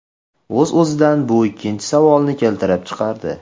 O‘z-o‘zidan bu ikkinchi savolni keltirib chiqardi.